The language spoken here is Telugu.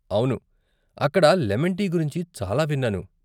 అవును, అక్కడ లెమన్ టీ గురించి చాలా విన్నాను.